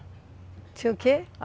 Tinha o quê?